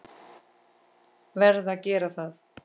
Verð að gera það.